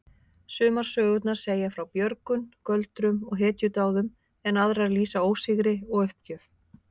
Sumar sögurnar segja frá björgun, göldrum og hetjudáðum en aðrar lýsa ósigri og uppgjöf.